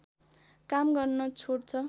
काम गर्न छोड्छ